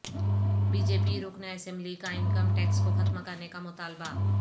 be J P رکن اسمبلی کا انکم ٹیکس کو ختم کرنے کا مطالبہ